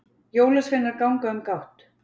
jólasveinar ganga um gátt